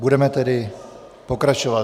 Budeme tedy pokračovat.